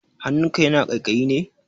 Hannunka yana ƙaiƙayi ne?